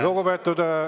Lugupeetud …